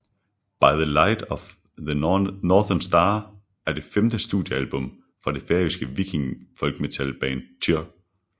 By the Light of the Northern Star er det femte studiealbum fra det færøske viking folkmetal band Týr